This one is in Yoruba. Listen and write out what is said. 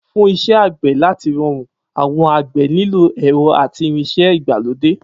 Fún is̩é̩ àgbè̩ láti ro̩rùn, àwo̩n àgbè̩ nílò è̩ro̩ àti irins̩é̩ ìgbàlódé